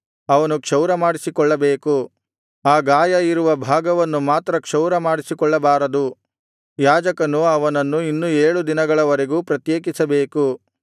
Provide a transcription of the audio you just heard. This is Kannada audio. ಅವನು ಕ್ಷೌರಮಾಡಿಸಿಕೊಳ್ಳಬೇಕು ಆ ಗಾಯ ಇರುವ ಭಾಗವನ್ನು ಮಾತ್ರ ಕ್ಷೌರಮಾಡಿಸಿಕೊಳ್ಳಬಾರದು ಯಾಜಕನು ಅವನನ್ನು ಇನ್ನು ಏಳು ದಿನಗಳವರೆಗೂ ಪ್ರತ್ಯೇಕಿಸಬೇಕು